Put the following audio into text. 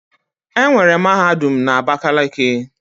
Enwere mahadum na Abakeleke